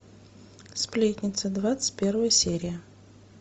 сплетница двадцать первая серия